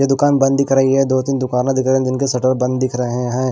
ये दुकान बंद दिख रही है दो-तीन दुकाने दिख रहे जिनके शटर बंद दिख रहें हैं।